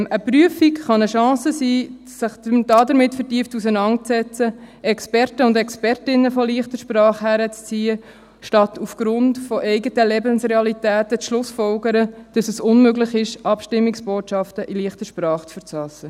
Eine Prüfung kann eine Chance sein, sich vertieft damit auseinanderzusetzen, Experten und Expertinnen der «leichten Sprache» heranzuziehen, statt aufgrund eigener Lebensrealitäten zu folgern, dass es unmöglich ist, Abstimmungsbotschaften in «leichter Sprache» zu verfassen.